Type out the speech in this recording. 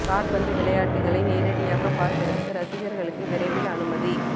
காற்பந்து விளையாட்டுக்களை நேரடியாக பார்ப்பதற்கு ரசிகர்களுக்கு விரைவில் அனுமதி